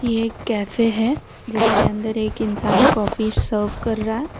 यह एक कैफे हैं जिसके अंदर एक इंसान कॉफी सर्वे कर रहा है।